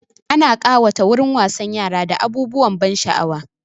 Ana ƙawata wurin wasan yara da abubuwan ban sha'awa.